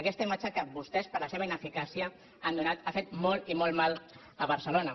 aquesta imatge que vostès per la seva ineficàcia han donat ha fet molt i molt mal a barcelona